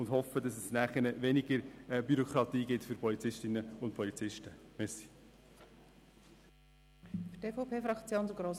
Wir hoffen, dass es weniger Bürokratie für die Polizistinnen und Polizisten geben wird.